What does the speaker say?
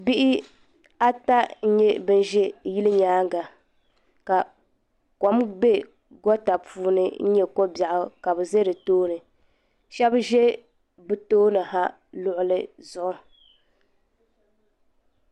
Bihi ata n nyɛ bin ʒɛ yili nyaanga ka kɔm bɛ gɔta puuni n nyɛ kobɛɣu ka bi za di tooni shɛba ʒɛ bi tooni ha luɣuli zuɣu.